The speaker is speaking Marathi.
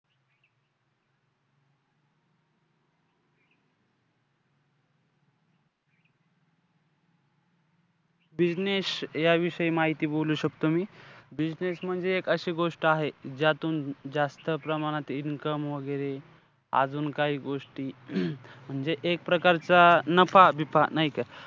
Business याविषयी माहिती बोलू शकतो मी. Business म्हणजे एक अशी गोष्ट आहे ज्यातून जास्त प्रमाणात income वैगेरे, अजून काही गोष्टी, म्हणजे एक प्रकारचा नफा-बीफा, नाही का?